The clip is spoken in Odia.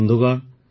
ବନ୍ଧୁଗଣ